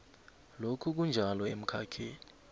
lokhu kunjalo emkhakheni